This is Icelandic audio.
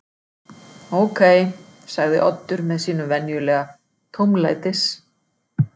Ókei- sagði Oddur með sínum venjulega tómlætis